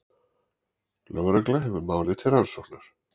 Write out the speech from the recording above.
Lögregla hefur málið til rannsóknar